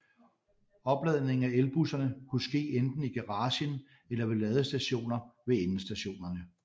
Opladningen af elbusserne kunne ske enten i garagen eller ved ladestationer ved endestationerne